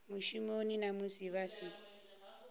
mushumoni na musi vha si